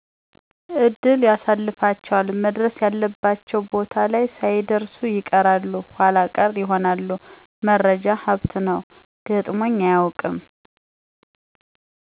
እድል ያሰልፋቸዋል መድረስ ያለባቸው ቦታ ላይ ሳይደርሱ ይቀራሉ ኃላ ቀረ ይሆናል መረጃ ሀብት ነው, ገጥሞኝ አያቀውቅም